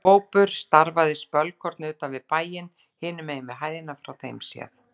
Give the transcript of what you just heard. Hópur starfaði spölkorn utan við bæinn, hinum megin við hæðina frá þeim séð.